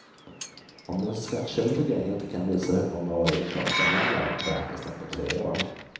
Om den skattskyldige inte kan visa hur många år inkomsten gäller, beräknas den på tre år.